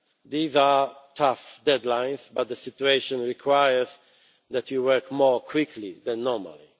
These are tough deadlines, but the situation requires that we work more quickly than normally.